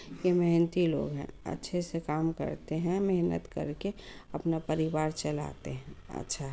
यह मेहनती लोग हैं। अच्छे से काम करते हैं। मेहनत करके अपना परिवार चलाते हैं। अच्छा --